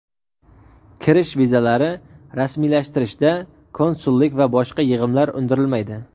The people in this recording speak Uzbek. kirish vizalari rasmiylashtirishda konsullik va boshqa yig‘imlar undirilmaydi;.